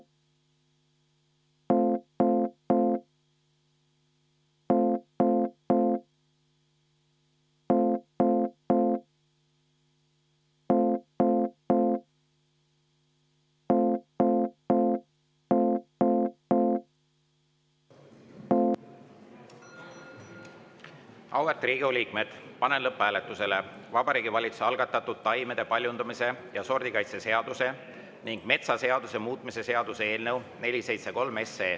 Auväärt Riigikogu liikmed, panen lõpphääletusele Vabariigi Valitsuse algatatud taimede paljundamise ja sordikaitse seaduse ning metsaseaduse muutmise seaduse eelnõu 473.